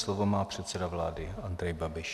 Slovo má předseda vlády Andrej Babiš.